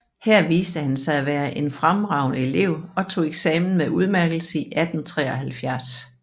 Her viste han sig at være en fremragende elev og tog eksamen med udmærkelse i 1873